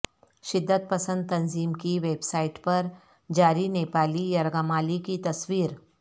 شدت پسند تنظیم کی ویب سائٹ پر جاری نیپالی یرغمالی کی تصویر